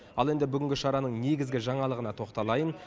ал енді бүгінгі шараның негізгі жаңалығына тоқталайын